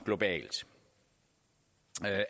globalt